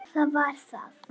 Jú, það var það.